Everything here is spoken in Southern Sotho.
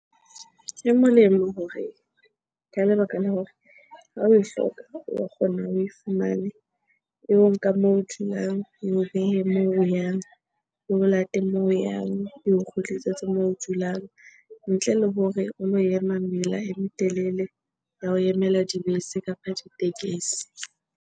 E molemo hore ka lebaka la hore ha oe hloka, wa kgona oe fumane. Eo nka moo dulang, eo behe moo o yang teng. Eo late moo o yang, eo kgutlisetse moo o dulang. Ntle le hore o lo ema mela e metelele ya ho emela dibese kapa ditekesi.